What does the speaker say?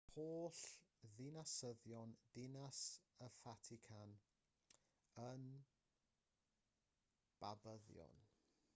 mae holl ddinasyddion dinas y fatican yn babyddion